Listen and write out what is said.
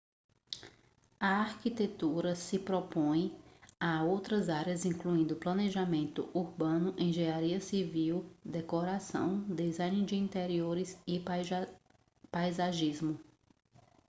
a arquitetura se sobrepõe a outras áreas incluindo planejamento urbano engenharia civil decoração design de interiores e paisagismo